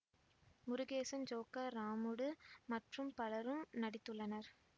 Murugesan Joker Ramudu மற்றும் பலரும் நடித்துள்ளனர்